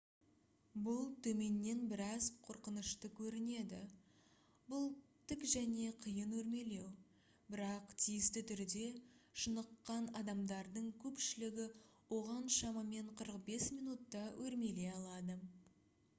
бұл төменнен біраз қорқынышты көрінеді бұл тік және қиын өрмелеу бірақ тиісті түрде шыныққан адамдардың көпшілігі оған шамамен 45 минутта өрмелей алады